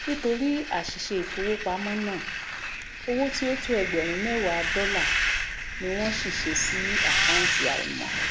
nítorí àsìse ìfowópámó ná owó tí ó tó ẹgbèrún méwàá dólà ni wón ṣìse sí àkàntì àìmò